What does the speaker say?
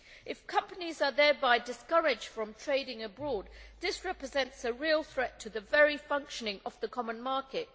If companies are thereby discouraged from trading abroad, this represents a real threat to the very functioning of the common market.